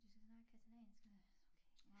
Du skal snakke katalansk øh okay